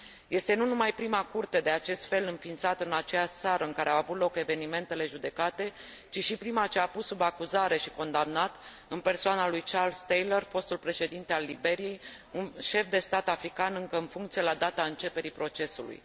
Este nu numai prima Curte de acest fel înființată în aceeași țară în care au avut loc evenimentele judecate, ci și prima ce a pus sub acuzare și condamnat, în persoana lui Charles Taylor, fostul președinte al Liberiei, un șef de stat african încă în funcție la data începerii procesului.